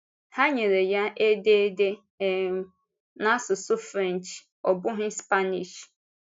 Ha nyere ya édèrdè um n’asụsụ French, ọ bụghị Spanish!